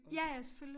Ja ja selvfølgelig